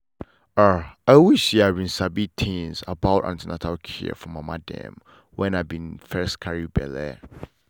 ah i wish say i been sabi things about an ten atal care for mama dem wen i been first carry belle.